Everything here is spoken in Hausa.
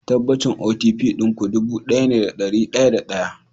Tabbacin OTP ɗin ku ɗubu ɗaya ne da ɗari da ɗaya